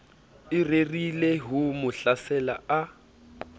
o rerileho mo hlasela a